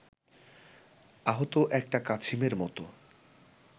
আহত একটা কাছিমের মতো